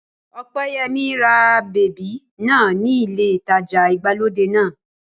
Ọpẹ́yẹmí ra bèbí náà ní ilé ìtajà ìgbàlódé náà